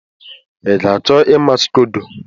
Ị ga-achọ ịma scodo?